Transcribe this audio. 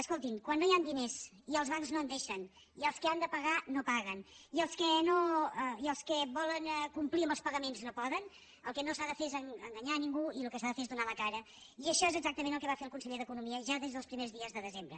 escoltin quan no hi han diners i els bancs no en deixen i els que han de pagar no paguen i els que volen complir amb els pagaments no poden el que no s’ha de fer és enganyar ningú i el que s’ha de fer és donar la cara i això és exactament el que va fer el conseller d’economia ja des dels primers dies de desembre